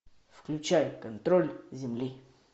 включай контроль земли